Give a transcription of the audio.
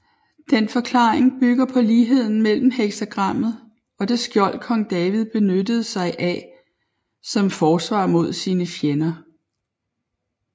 Den forklaring bygger på ligheden mellem heksagrammet og det skjold Kong David benyttede sig af som forsvar mod sine fjender